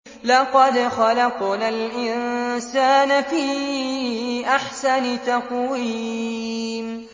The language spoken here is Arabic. لَقَدْ خَلَقْنَا الْإِنسَانَ فِي أَحْسَنِ تَقْوِيمٍ